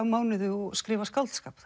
mánuði og skrifa skáldskap